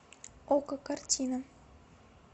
окко картина